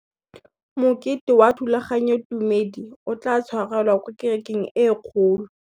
Mokete wa thulaganyôtumêdi o tla tshwarelwa kwa kerekeng e kgolo.